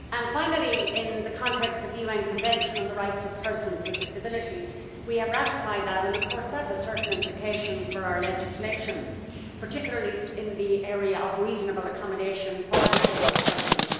Finally, in the context of the UN Convention on the Rights of Persons with Disabilities, we have ratified that and, of course, that has certain implications for our legislation, particularly in the area of reasonable accommodation for disabled persons.